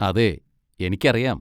അതെ, എനിക്കറിയാം.